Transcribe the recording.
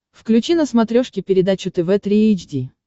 включи на смотрешке передачу тв три эйч ди